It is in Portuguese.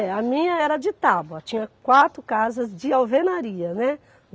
É, a minha era de tábua, tinha quatro casas de alvenaria, né?